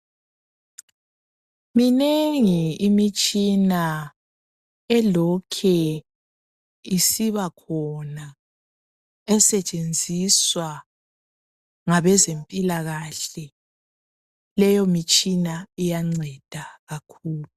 Minengi imitshina elokhe isibakhona esetshenziswa ngabezempilakahle. Leyo mitshina iyanceda kakhulu.